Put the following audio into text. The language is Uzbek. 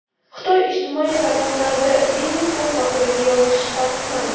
Xitoy ijtimoiy tarmoqlarida Vinni-Pux haqida yozish taqiqlandi.